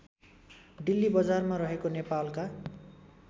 डिल्लीबजारमा रहेको नेपालका